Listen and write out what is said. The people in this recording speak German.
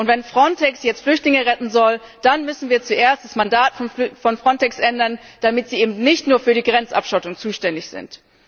Und wenn Frontex jetzt Flüchtlinge retten soll, dann müssen wir zuerst das Mandat von Frontex ändern, damit sie eben nicht nur für die Grenzabschottung zuständig sind.